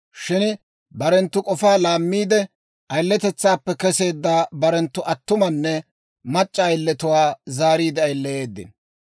Shin barenttu k'ofaa laammiide, ayiletetsaappe kesseedda barenttu attumanne mac'c'a ayiletuwaa zaariide ayileyeedino.